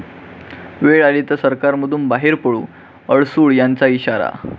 वेळ आली तर सरकारमधून बाहेर पडू, अडसूळ यांचा इशारा